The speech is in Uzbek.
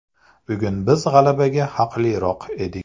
Bugun biz g‘alabaga haqliroq edik.